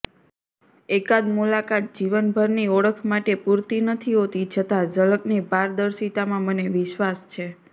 એકાદ મુલાકાત જીવનભરની ઓળખ માટે પૂરતી નથી હોતી છતાં ઝલકની પારર્દિશતામાં મને વિશ્વાસ છે